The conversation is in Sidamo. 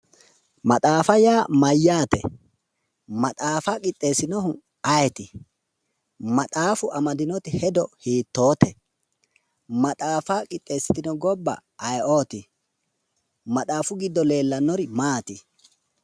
Maxaafa yaa mayyaate? Maxaafa quxxeesinohu ayeeti? Maxaafu amadinoti hedo hiittoote/ maxaafa qixxeesitino gobba ayeeoori? Maxaafu giddo leellannori maati?